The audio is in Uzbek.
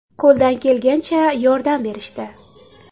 Qo‘ldan kelgancha yordam berishdi.